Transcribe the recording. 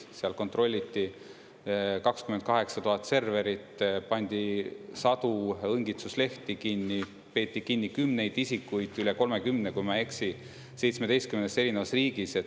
Seal kontrolliti 28000 serverit, pandi sadu õngitsuslehti kinni, peeti kinni kümneid isikuid, üle 30, kui ma ei eksi, seitsmeteistkümnes erinevas riigis.